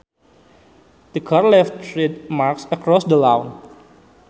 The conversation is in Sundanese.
The car left tread marks across the lawn